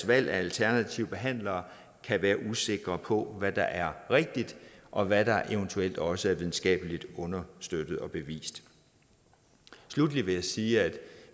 valg af alternative behandlere kan være usikker på hvad der er rigtigt og hvad der eventuelt også er videnskabeligt understøttet og bevist sluttelig vil jeg sige at